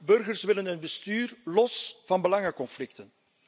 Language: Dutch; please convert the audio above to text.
Burgers willen een bestuur los van belangenconflicten.